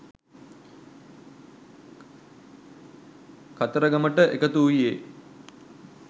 කතරගමට එකතු වූයේ